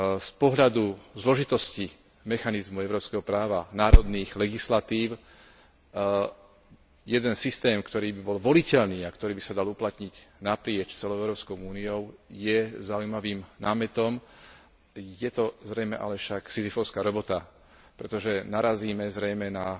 Z pohľadu zložitosti mechanizmu európskeho práva, národných legislatív, jeden systém, ktorý by bol voliteľný a ktorý by sa dal uplatniť naprieč celou Európskou úniou, je zaujímavým námetom, je to zrejme ale však sizyfovská robota, pretože narazíme zrejme na